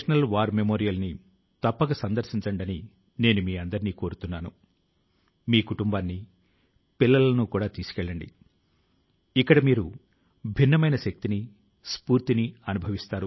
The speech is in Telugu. ఈ రోజు ప్రపంచంలో టీకామందు ను ఇప్పించడానికి సంబంధించినటువంటి గణాంకాల ను భారతదేశం తో పోల్చి చూస్తే దేశం అపూర్వమైన కార్యాన్ని చేసినట్లు అనిపిస్తుంది